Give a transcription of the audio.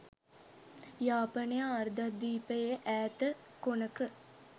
යාපනය අර්ධද්වීපයේ ඈත කොනක